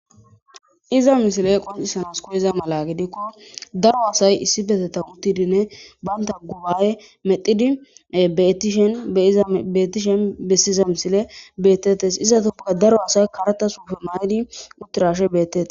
Iza misile qonccisanasi kiyiza mala gedikko daro asay issipetetan uttidinne banta guba'e medhidi beetishen iza beettishen bessiiza misile bettettes. Izatuppeka daro asay karta sufe mayidi uttirashe beettetes.